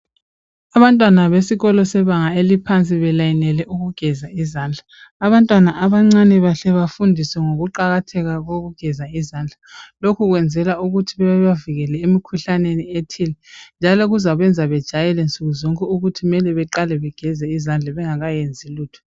Abantwana besikolo sebanga eliphansi belayinele ukugeza izandla. Abantwana abancane bahle bafundiswe ngokuqakatheka kokugeza izandla lokhu kwenzelwa ukuthi bebavikele emkhuhlaneni ethile. Njalo kuzabenza bejayele nsukuzonke ukuthi kumele beqale bageze izandla bengakayenzi lutho.